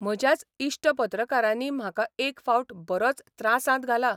म्हज्याच इश्ट पत्रकारांनी म्हाका एक फावट बरोच त्रासांत घाला.